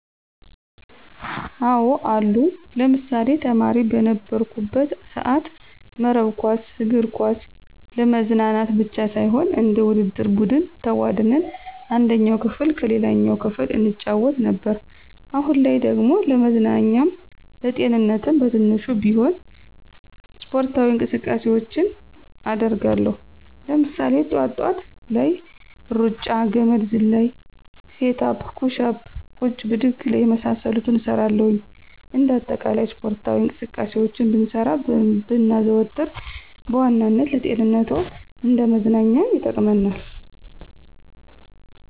አዎ አሉ። ለምሳሌ፦ ተማሪ በነበርኩበት ሰአት መረብ ኳስ፣ እግር ኳስ ለመዝናናት ብቻ ሳይሆን እንደ ውድድር ቡድን ተቧድነን አንደኛው ክፍል ከሌላኛው ክፍል እንጫወት ነበር። አሁን ላይ ደግሞ ለመዝናኛም ለጤንነትም በትንሹም ቢሆን ስፖርታዊ እንቅስቃሴውችን አደርጋለው። ለምሳሌ፦ ጥዋት ጥዋት ላይ ሩጫ፣ ገመድ ዝላይ፣ ሴት አፕ፣ ኩሽ አፕ፣ ቁጭ ብድግ የመሳሰሉትን እሰራለሁኝ። እንደ አጠቃላይ ስፖርታዊ እንቅስቃሴውችን ብንሰራ ብናዘወትር በዋናነት ለጤንነትም እንደ መዝናኛም ይጠቅመናል።